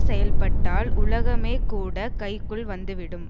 செயல்பட்டால் உலகமேகூடக் கைக்குள் வந்துவிடும்